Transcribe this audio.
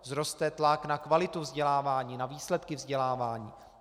Vzroste tlak na kvalitu vzdělávání, na výsledky vzdělávání.